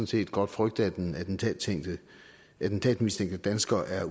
set godt frygte at den attentatmistænkte dansker er